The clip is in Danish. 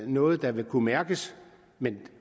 noget der vil kunne mærkes men